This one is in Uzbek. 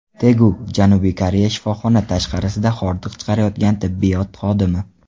Tegu, Janubiy Koreya Shifoxona tashqarisida hordiq chiqarayotgan tibbiyot xodimi.